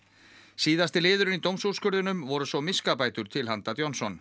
síðasti liðurinn í dómsúrskurðinum voru svo miskabætur til handa Johnson